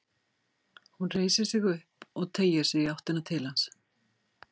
Hún reisir sig upp og teygir sig í áttina til hans.